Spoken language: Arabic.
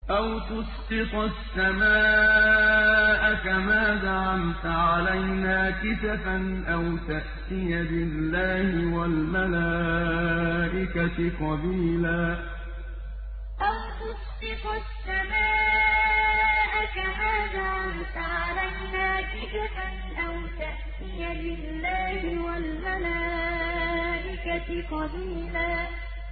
أَوْ تُسْقِطَ السَّمَاءَ كَمَا زَعَمْتَ عَلَيْنَا كِسَفًا أَوْ تَأْتِيَ بِاللَّهِ وَالْمَلَائِكَةِ قَبِيلًا أَوْ تُسْقِطَ السَّمَاءَ كَمَا زَعَمْتَ عَلَيْنَا كِسَفًا أَوْ تَأْتِيَ بِاللَّهِ وَالْمَلَائِكَةِ قَبِيلًا